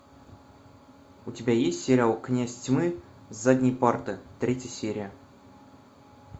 у тебя есть сериал князь тьмы с задней парты третья серия